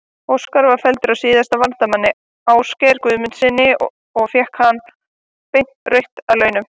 Óskar var felldur af síðasta varnarmanni, Ásgeiri Guðmundssyni og fékk hann beint rautt að launum.